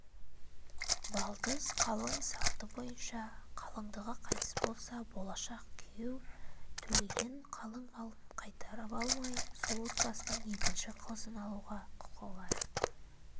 балдыз қалың салты бойынша қалыңдығы қайтыс болса болашақ күйеу төлеген қалың малын қайтарып алмай сол отбасының екінші қызын алуға құқы бар